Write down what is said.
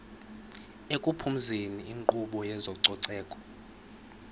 ekuphumezeni inkqubo yezococeko